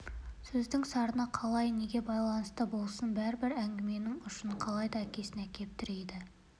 сөздің сарыны қалай неге байланысты болсын бәрібір әңгіменің ұшын қалайда әкесіне әкеп тірейді